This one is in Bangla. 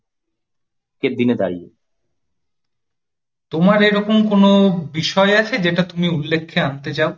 তোমার এরকম কোন বিষয় আছে যেটা তুমি উল্লেখ্যে আনতে চাও?